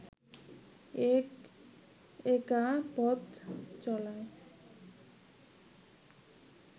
এই একা পথ চলায়